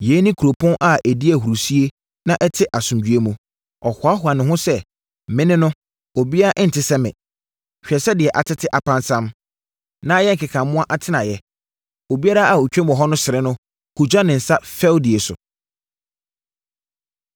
Yei ne kuropɔn a ɛdi ahurisie na ɛte asomdwoeɛ mu. Ɔhoahoa ne ho sɛ, “Me ne no, obiara nte sɛ me.” Hwɛ sɛ deɛ atete apansam, na ayɛ nkeka mmoa atenaeɛ! Obiara a ɔtwam hɔ no sere no, hugya ne nsa fɛdie so.